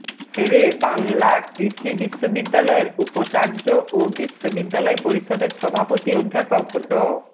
শেরে বাংলা কৃষি বিশ্ববিদ্যালয়ের উপাচার্য ও বিশ্ববিদ্যালয় পরিষদের সভাপতি অধ্যাপক ড